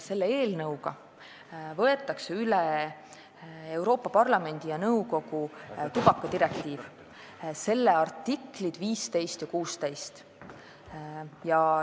Selle eelnõuga võetakse üle Euroopa Parlamendi ja nõukogu tubakadirektiivi artiklid 15 ja 16.